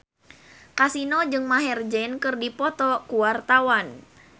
Kasino jeung Maher Zein keur dipoto ku wartawan